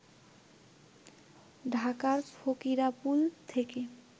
ঢাকার ফকিরাপুল থেকে